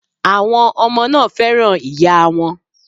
Àwọn ọmọ náà fẹ́ràn ìyáa wọn.